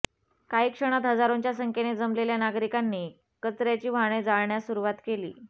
काही क्षणांत हजारोंच्या संख्येने जमलेल्या नागरिकांनी कचर्याची वाहने जाळण्यास सुरुवात केली